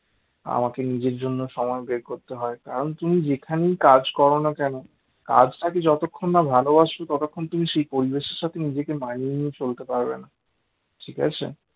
আমাকে নিজের জন্য সময় বের করতে হয় কারণ তুমি যেখানেই কাজ করো না কেন কাজটাকে যতক্ষণ না ভালবাসবে ততক্ষণ তুমি সেই পরিবেশটাকে নিজেকে মানিয়ে নিয়ে চলতে পারবে না ঠিক আছে